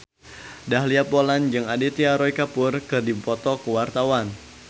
Dahlia Poland jeung Aditya Roy Kapoor keur dipoto ku wartawan